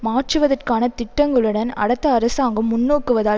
மாற்றுவதற்கான திட்டங்களுடன் அடுத்த அரசாங்கம் முன்நோக்குவதால்